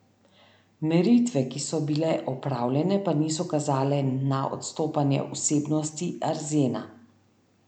Meritve, ki so bile opravljene, pa niso kazale na odstopanje vsebnosti arzena.